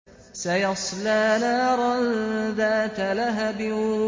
سَيَصْلَىٰ نَارًا ذَاتَ لَهَبٍ